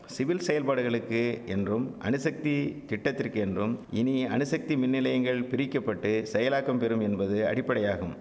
civil செயல்பாடுகளுக்கு என்றும் அணுசக்தி திட்டத்திற்கு என்றும் இனி அணுசக்தி மின்நிலையங்கள் பிரிக்க பட்டு செயலாக்கம் பெரும் என்பது அடிப்படையாகும்